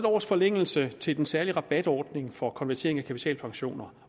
års forlængelse til den særlige rabatordning for konvertering af kapitalpensioner